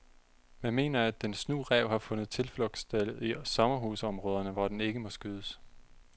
Man mener, at den snu ræv har fundet tilflugtssted i sommerhusområderne, hvor den ikke må skydes.